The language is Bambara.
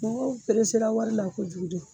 Mɔgɔw peresera wari la kojugu de.